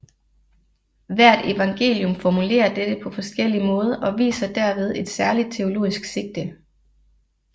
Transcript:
Hvert evangelium formulerer dette på forskellig måde og viser derved et særligt teologisk sigte